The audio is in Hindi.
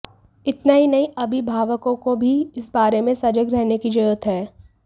इतना ही नहीं अभिभावकों को भी इस बारे में सजग रहने की जरुरत है